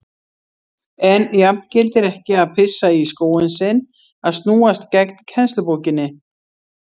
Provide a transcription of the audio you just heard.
En jafngildir ekki að pissa í skóinn sinn að snúast gegn kennslubókinni?